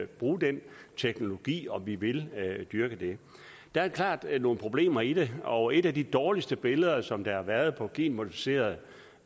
bruge den teknologi og om vi vil dyrke det der er klart nogle problemer i det og et af de dårligste billeder som har været af genmodificerede